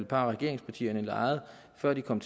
par af regeringspartierne legede før de kom